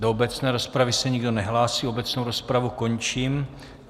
Do obecné rozpravy se nikdo nehlásí, obecnou rozpravu končím.